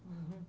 Uhum.